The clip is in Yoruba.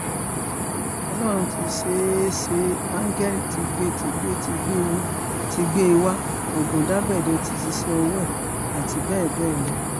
ọlọ́run ti ṣeé ṣeé áńgẹ́lì tìgbètìgbé ti gbé e wá ọ̀gùndàbẹ̀dẹ̀ ti ṣíṣe ọwọ́ ẹ̀ àti bẹ́ẹ̀ bẹ́ẹ̀ lọ